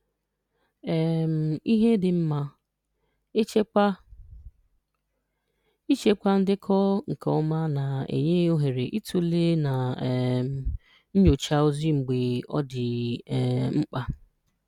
um Ihe Dị Mma: Echekwa: Ịchekwa ndekọ nke ọma na-enye ohere ịtụle na um nyochaa ozi mgbe ọ dị um mkpa.